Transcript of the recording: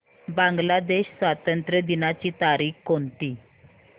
बांग्लादेश स्वातंत्र्य दिनाची तारीख कोणती